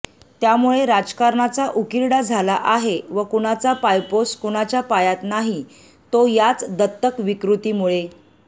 त्यामुळे राजकारणाचा उकिरडा झाला आहे व कुणाचा पायपोस कुणाच्या पायात नाही तो याच दत्तक विकृतीमुळे